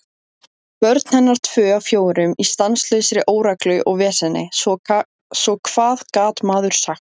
Börn hennar tvö af fjórum í stanslausri óreglu og veseni, svo hvað gat maður sagt?